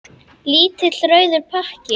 Lítill rauður pakki.